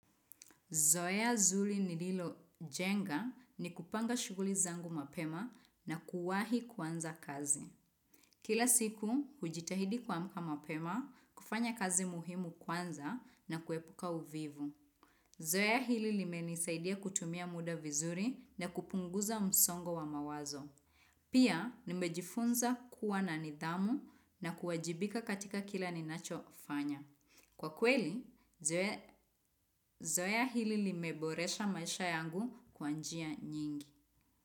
Zoea nzuri nililojenga ni kupanga shughuli zangu mapema na kuwahi kwanza kazi. Kila siku, hujitahidi kuamka mapema, kufanya kazi muhimu kwanza na kuepuka uvivu. Zoea hili limenisaidia kutumia muda vizuri na kupunguza msongo wa mawazo. Pia, nimejifunza kuwa na nidhamu na kuwajibika katika kila ninachofanya. Kwa kweli, zoea hili limeboresha maisha yangu kwa njia nyingi.